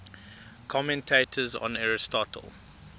commentators on aristotle